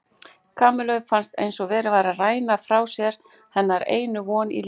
Kamillu fannst eins og verið væri að ræna frá sér hennar einu von í lífinu.